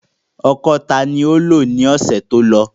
Ọ́kọ ta ni o lo ni ọsẹ to kọja?